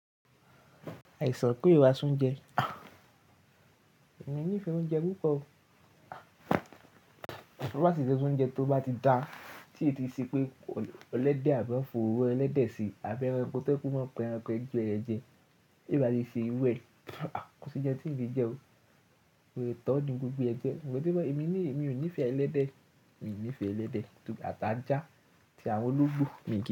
Àìsàn pé ìwà súnjẹ. Èmi ní ìfẹ́ oúnjẹ púpọ̀. Toba sì ti ṣe oúnjẹ tó bá ti da tí ètí ṣe pé elẹ́dẹ̀ àbí wọ̀n fi oróro ẹlẹ́dẹ̀ sí àbí ẹranko to je wipe o máa n pa ẹranko ẹ́gbẹ jẹ, ti o ba ti n se iru ẹ ko ounje ti n lé jẹ o, mo le tọ́ju gbogbo ẹ́ gan. Sugbọn, èmi ní èmi ò níì fẹ́ ẹlẹ́dẹ̀, mi ò níì fẹ́ ẹlẹ́dẹ̀ ati ajá, atí àwọn ológbò mi kí.